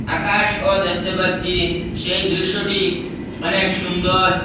আকাশ ও দেখতে পাচ্ছি সেই দৃশ্যটি অনেক সুন্দর।